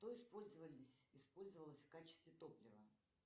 что использовалось в качестве топлива